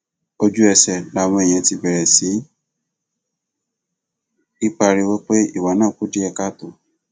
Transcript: ojúẹsẹ làwọn èèyàn ti bẹrẹ sí í pariwo pé ìwà náà kù díẹ káàtó